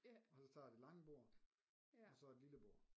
Og så tager det lange bord og så et lille bord